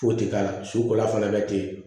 Foyi tɛ k'a la su kola fana ka teli